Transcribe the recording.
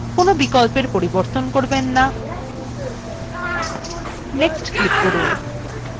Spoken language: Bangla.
কোনো বিকল্পের পরিবর্তন করবেন না next click করুন